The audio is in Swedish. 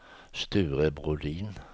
Sture Brodin